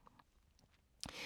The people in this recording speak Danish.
DR1